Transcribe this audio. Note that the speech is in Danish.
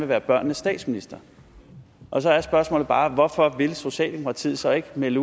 være børnenes statsminister og så er spørgsmålet bare hvorfor vil socialdemokratiet så ikke melde